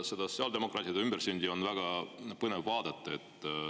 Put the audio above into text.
Seda sotsiaaldemokraatide ümbersündi on väga põnev vaadata.